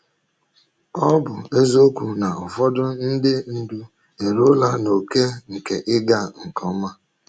Ọ bụ eziokwu na ụfọdụ ndị ndu eruola n’ókè nke ịga nke ọma.